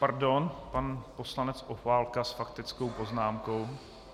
Pardon, pan poslanec Opálka s faktickou poznámkou.